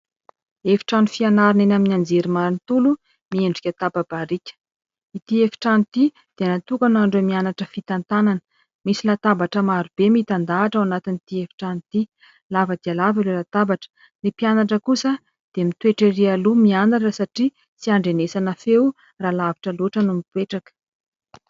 Efitrano fianarana eny amin'ny anjery manontolo miendrika tapa-barika. Ity efitrano ity dia natokana ho an'ireo mianatra fitantanana. Misy latabatra maro be mitandahatra ao anatin'ity efitrano ity, lava dia lava ireo latabatra. Ny mpianatra kosa dia mitoetra erỳ aloha, mianatra satria tsy andrenesana feo raha lavitra loatra no mipetraka.